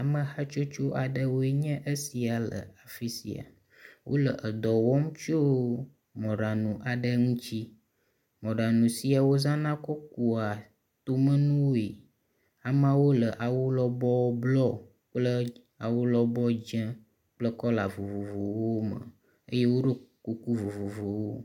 Ame hatsotso aɖewoe nye esia le afi sia. Wo le dɔ wɔm tso mɔɖaŋu aɖe ŋutsi. Mɔɖaŋu sia wozãna kɔ kua tomenuwoe. Ameawo le awu lɔbɔ blɔ kple awulɔbɔ dze kple kɔla vovovowo me eye woɖo kuku vovovowo.